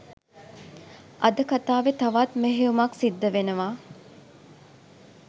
අද කතාවෙ තවත් මෙහෙයුමක් සිද්ධ වෙනවා